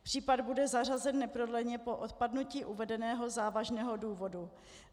Případ bude zařazen neprodleně po odpadnutí uvedeného závažného důvodu.